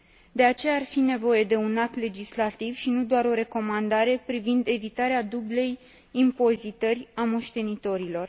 De aceea, ar fi nevoie de un act legislativ, și nu doar de o recomandare, privind evitarea dublei impozitări a moștenitorilor.